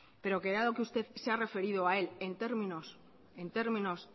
pero que dado que usted se ha referido a él en términos